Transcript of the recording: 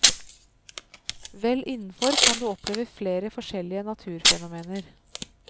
Vel innefor kan du oppleve flere forskjellige naturfenomener.